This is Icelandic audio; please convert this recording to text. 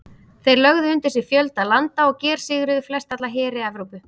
Þeir lögðu undir sig fjölda landa og gersigruðu flestalla heri Evrópu.